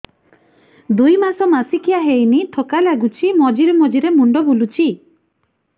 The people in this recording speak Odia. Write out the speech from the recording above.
ଦୁଇ ମାସ ମାସିକିଆ ହେଇନି ଥକା ଲାଗୁଚି ମଝିରେ ମଝିରେ ମୁଣ୍ଡ ବୁଲୁଛି